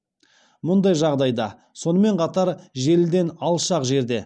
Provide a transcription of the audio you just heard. мұндай жағдайда сонымен қатар желіден алшақ жерде